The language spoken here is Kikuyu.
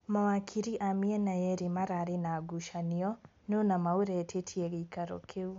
Mawakiri a mĩena yeerĩ mararĩ na ngucanio nũ nama ũretĩtie gĩikaro kĩu.